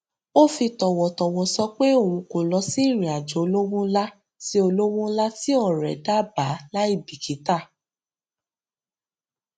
ó fi tọwọtọwọ sọ pé òun kò lọ sí ìrìn àjò olówo ńlá tí olówo ńlá tí ọrẹ dábàá láì bìkítà